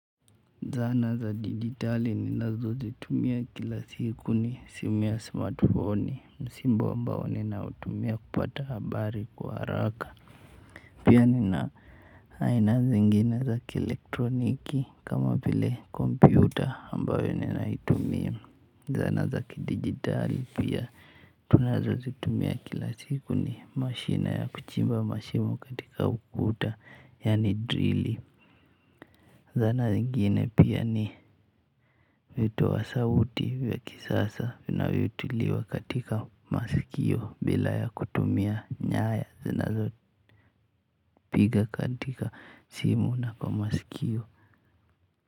Zana za dijitali ninazo zitumia kila siku ni simu ya smartfoni. Msimbo ambao ninautumia kupata habari kwa haraka, pia nina aina zingine za kielektroniki kama vile kompyuta ambayo ninaitumia. Zana za kidijitali pia tunazo zitumia kila siku ni mashine ya kuchimba mashimo katika ukuta yani drili. Zana zingine pia ni, vitoa sauti vya kisasa vnavyotiliwa katika masikio bila ya kutumia nyaya zinazo, piga katika simu na kwa masikio.